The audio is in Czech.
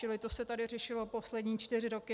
Čili to se tady řešilo poslední čtyři roky.